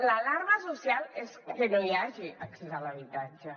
l’alarma social és que no hi hagi accés a l’habitatge